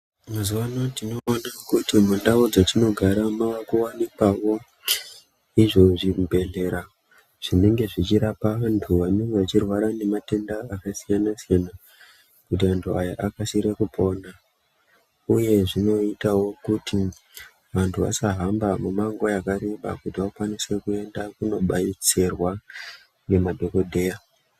Mazuvano tinoona kuti mundau dzatinogara mavakuwanikwawo izvo zvibhedhlera zvinenge zvichirapa vantu vanenge vachirwara nematenda akasiyana-siyana kuti antu aya akasire kupona. Uye zvinoitawo kuti antu asahamba mumango yakareba kuti akwanise kuenda kunodetserwa ngemadhogodheya.